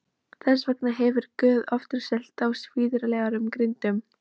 Þess vegna hefur Guð ofurselt þá svívirðilegum girndum.